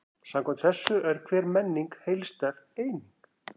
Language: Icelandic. Samkvæmt þessu er hver menning heildstæð eining.